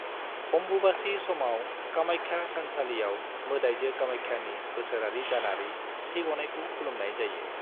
अम्बुबाची समाव, कामाख्या थानसालियाव मोदाइजो कामाख्यानि बोसोरारि दानारि थैग'नायखौ खुलुमनाय जायो।